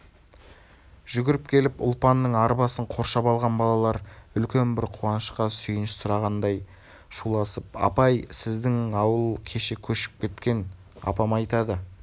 жүгіріп келіп ұлпанның арбасын қоршап алған балалар үлкен бір қуанышқа сүйінші сұрағандай шуласыпапай сіздің ауыл кеше көшіп кеткен апам айтады